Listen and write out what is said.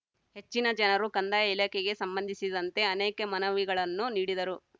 ಹೆಚ್ಚಿನ ಜನರು ಕಂದಾಯ ಇಲಾಖೆಗೆ ಸಂಬಂಧಿಸಿದಂತೆ ಅನೇಕ ಮನವಿಗಳನ್ನು ನೀಡಿದರು